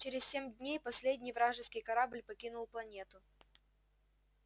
через семь дней последний вражеский корабль покинул планету